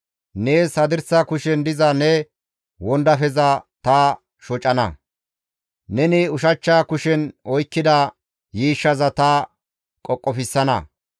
Nees hadirsa kushen diza ne wondafeza ta shocana; neni ushachcha kushen oykkida yiishshaza ta qoqofsana.